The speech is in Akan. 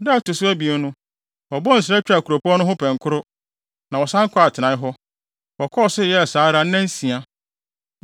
Da a ɛto so abien no, wɔbɔɔ nsra twaa kuropɔn no ho pɛnkoro, na wɔsan kɔɔ atenae hɔ. Wɔkɔɔ so yɛɛ saa ara nnansia.